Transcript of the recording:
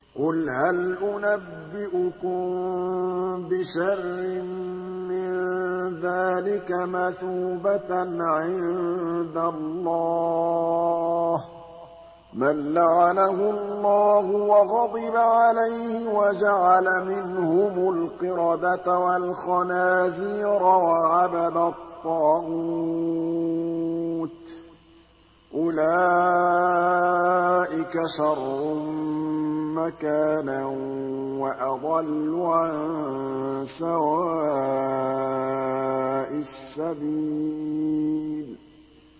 قُلْ هَلْ أُنَبِّئُكُم بِشَرٍّ مِّن ذَٰلِكَ مَثُوبَةً عِندَ اللَّهِ ۚ مَن لَّعَنَهُ اللَّهُ وَغَضِبَ عَلَيْهِ وَجَعَلَ مِنْهُمُ الْقِرَدَةَ وَالْخَنَازِيرَ وَعَبَدَ الطَّاغُوتَ ۚ أُولَٰئِكَ شَرٌّ مَّكَانًا وَأَضَلُّ عَن سَوَاءِ السَّبِيلِ